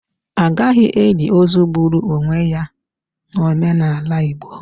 A gaghị eli ozu gburu ionwe ya n'omenala Igbo.